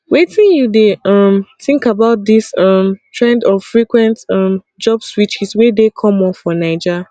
wetin you dey um think about dis um trend of frequent um job switches wey dey common for naija